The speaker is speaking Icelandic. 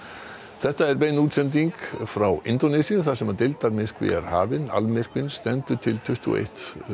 þetta er bein útsending frá Indónesíu þar sem deildarmyrkvi er hafinn stendur til tuttugu og ein